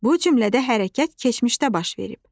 Bu cümlədə hərəkət keçmişdə baş verib.